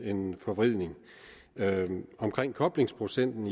en forvridning omkring koblingsprocenten